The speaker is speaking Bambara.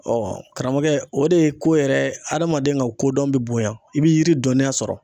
karamɔgɔ o de ye ko yɛrɛ hadamaden ka kodɔn bi bonya i b'i yiri dɔnniya sɔrɔ.